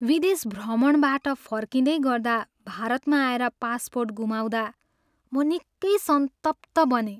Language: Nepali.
विदेश भ्रमणबाट फर्किँदै गर्दा भारतमा आएर पासपोर्ट गुमाउँदा म निकै सन्तप्त बनेँ।